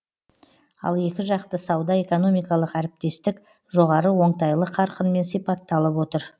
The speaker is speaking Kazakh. ал екіжақты сауда экономикалық әріптестік жоғары оңтайлы қарқынмен сипатталып отыр